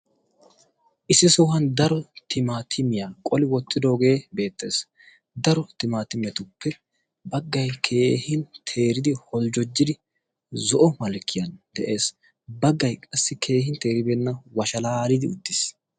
issi sohuwan daro timaatimiyaa qoli wottidoogee bettees. daro timaatimiyatuppe baggay keehin teeridi holjjojidi zo'o malkkiyan de'ees. baggay qassi keehin teeribeenna washalaalidi uttiis.